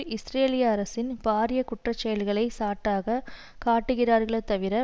இஸ்ரேலிய அரசின் பாரிய குற்ற செயல்களை சாட்டாகக் காட்டுகிறார்களே தவிர